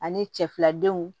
Ani cɛ filadenw